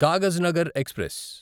Kagaznagar express